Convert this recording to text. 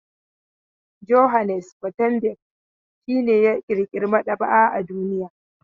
Johannes Gutenberg shi ne ya ƙirƙira maɗaba'a a duniya.